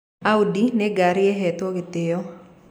Audi nĩ ngari ĩhetwo gĩtĩyo.